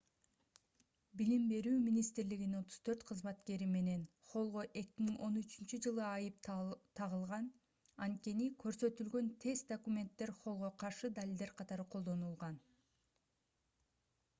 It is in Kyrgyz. билим берүү министрлигинин 34 кызматкери менен холлго 2013-жылы айып тагылган анткени көрсөтүлгөн тест документтер холлго каршы далилдер катары колдонулган